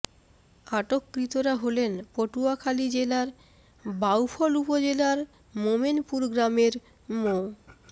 আটককৃতরা হলেন পটুয়াখালী জেলার বাউফল উপজেলার মোমেনপুর গ্রামের মো